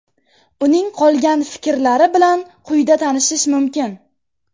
Uning qolgan fikrlari bilan quyida tanishish mumkin.